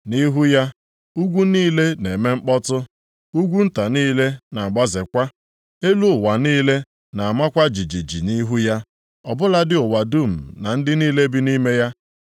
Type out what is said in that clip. Nʼihu ya, ugwu niile na-eme mkpọtụ, ugwu nta niile na-agbazekwa, elu ụwa niile na-amakwa jijiji nʼihu ya, ọ bụladị ụwa dum, na ndị niile bi nʼime ya.